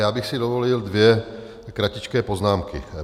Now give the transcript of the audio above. Já bych si dovolil dvě kratičké poznámky.